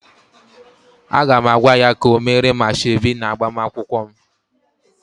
Aga m agwa ya ka o meere m asoebi na agbamakwụkwọ m